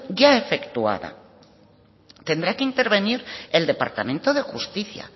ya efectuada tendrá que intervenir el departamento de justicia